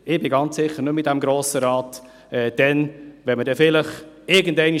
Ich werde ganz sicher nicht mehr in diesem Grossen Rat sein, wenn man dann vielleicht irgendwann sagt: